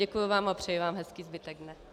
Děkuju vám a přeji vám hezký zbytek dne.